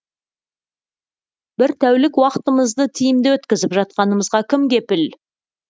бір тәулік уақытымызды тиімді өткізіп жатқанымызға кім кепіл